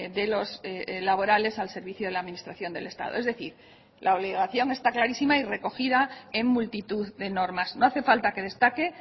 de los laborales al servicio de la administración del estado es decir la obligación está clarísima y recogida en multitud de normas no hace falta que destaque